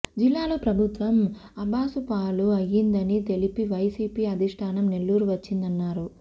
జిల్లాలో ప్రభుత్వం అబాసుపాలు అయ్యిందని తెలిసి వైసీపీ అధిష్టానం నెల్లూరు వచ్చిందన్నారు